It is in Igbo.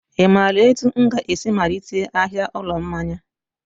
I maara etu m ga-esi malite ahịa ụlọ mmanya?